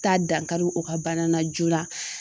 Taa dankari o ka bana na joona.